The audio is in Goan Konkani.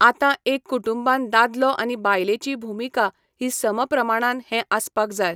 आतां एक कुटुंबान दादलो आनी बायलेची भुमिका ही समप्रमाणान हें आसपाक जाय.